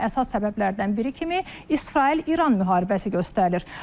Buna əsas səbəblərdən biri kimi İsrail-İran müharibəsi göstərilir.